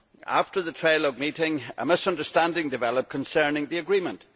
After the trialogue meeting, a misunderstanding developed concerning the agreement.